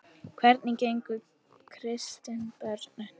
Hvernig gengur að kristna börnin?